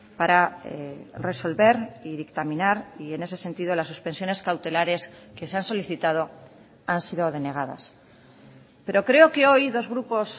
para resolver y dictaminar y en ese sentido las suspensiones cautelares que se han solicitado han sido denegadas pero creo que hoy dos grupos